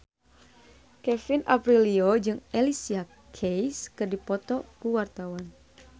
Kevin Aprilio jeung Alicia Keys keur dipoto ku wartawan